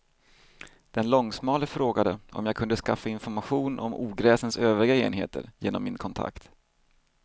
Den långsmale frågade om jag kunde skaffa information om ogräsens övriga enheter genom min kontakt.